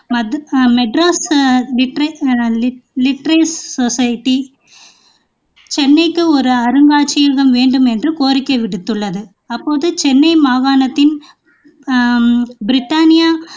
சென்னைக்கு ஒரு அருங்காட்சியகம் வேண்டும் என்று கோரிக்கை விடுத்ததுள்ளது அப்போது சென்னை மாகாணத்தின் ஹம் பிரித்தானிய